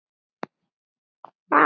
Og svara því.